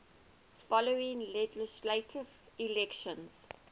following legislative elections